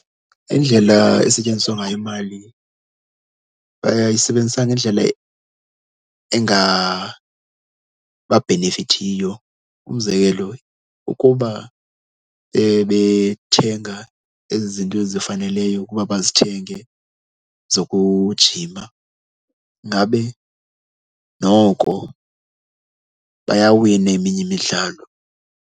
Indlela esetyenziswa ngayo imali bayayisebenzisa ngendlela engababhenefithiyo. Umzekelo ukuba bebethenga ezi zinto zifaneleyo ukuba bazithenge zokujima ngabe noko bayawina eminye imidlalo.